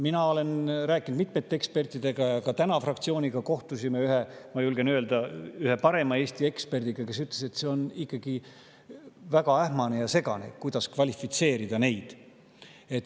Ma olen rääkinud mitmete ekspertidega ja ka täna fraktsiooniga kohtusime ühe, ma julgen öelda, Eesti parima eksperdiga, kes ütles, et see on ikkagi väga ähmane ja segane, kuidas neid kvalifitseerida.